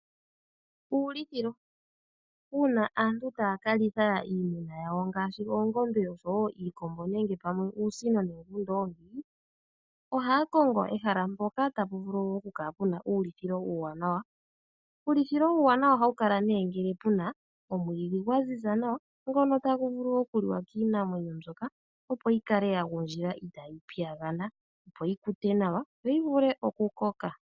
Uulithilo. Uuna aantu taa ka litha iimuna yawo ngaashi oongombe, osho wo iikombo nenge pamwe uusino nenge uundoongi, ohaya kongo ehala mpoka tapu vulu okukala pu na uulithilo uuwanawa. Uulithilo uuwanawa ohawu kala ngele pu na omwiidhi gwa ziza nawa, ngono tagu vulu okuliwa kiinamwenyo mbyoka, opo yi kale ya gundjila itaayi piyagana, opo yi kute nawa, yo yi vule okukoka.